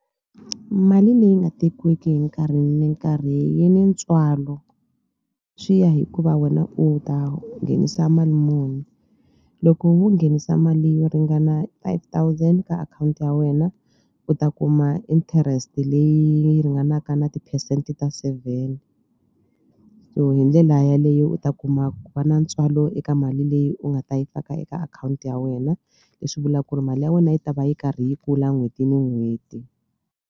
Mali leyi nga tekiwiki hi nkarhi ni nkarhi yi ni ntswalo swi ya hikuva wena u ta nghenisa mali muni loko wo nghenisa mali yo ringana five thousand ka akhawunti ya wena u ta kuma interest leyi yi ringanaka na ti-percent ta seven so hi ndlela yaleyo u ta kuma ku va na ntswalo eka mali leyi u nga ta yi faka eka akhawunti ya wena leswi vula ku ri mali ya wena yi ta va yi karhi yi kula n'hweti ni n'hweti.